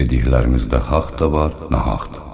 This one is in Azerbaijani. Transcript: Dediklərinizdə haqq da var, nahaq da.